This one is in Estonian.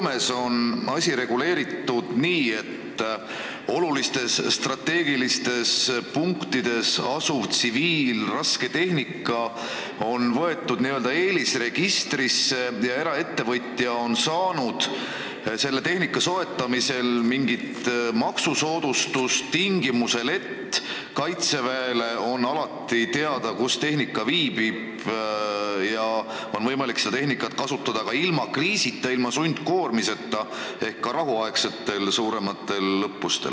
Näiteks on Soomes asi reguleeritud nii, et olulistes strateegilistes punktides asuv tsiviilrasketehnika on võetud n-ö eelisregistrisse ja eraettevõtja on saanud selle soetamisel mingit maksusoodustust, seda tingimusel, et kaitseväele on alati teada, kus see masin viibib, ja on võimalik seda kasutada ka ilma kriisita, ilma sundkoormiseta ehk suurematel rahuaegsetel õppustel.